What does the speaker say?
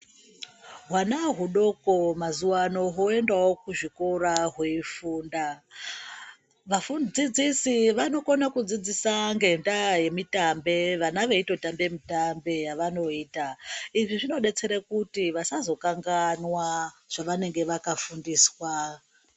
Hwana hudoko mazuwano hoendawo kuzvikora hweifunda, vadzidzisi vanokona kudzidzisa ngenda yemitombe vana veitotambe mitambe yavanoita izvi zvinodetsera kuti vasazokanganwa zvavanenge vakafundiswaa.